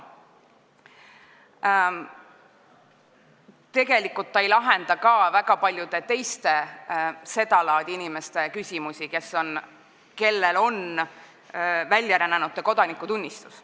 Tegelikult ei lahenda see seda laadi küsimusi ka väga paljude teiste inimeste puhul, kellel on väljarännanute kodanikutunnistus.